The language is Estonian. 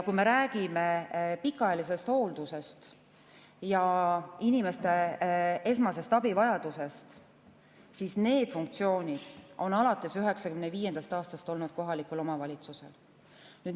Kui me räägime pikaajalisest hooldusest ja inimeste esmasest abivajadusest, siis need funktsioonid on alates 1995. aastast olnud kohalikul omavalitsusel.